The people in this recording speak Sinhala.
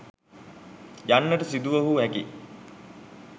යන්නට සිදුවනු හැකි යි.